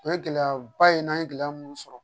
O ye gɛlɛyaba ye n'an ye gɛlɛya mun sɔrɔ